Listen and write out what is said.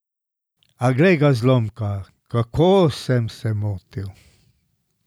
A, glej ga, zlomka, kako sem se motil.